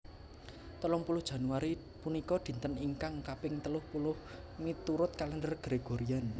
Telung puluh Januari punika dinten ingkang kaping telung puluh miturut Kalèndher Gregorian